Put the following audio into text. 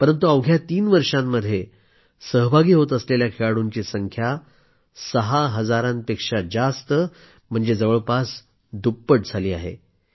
परंतु अवघ्या तीन वर्षांमध्ये सहभागी होत असलेल्या खेळाडूंची संख्या सहा हजारांपेक्षा जास्त म्हणजे जवळपास दुप्पट झाली आहे